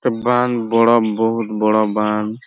বাঁধ বড় বোর্ড বড় বাঁধ।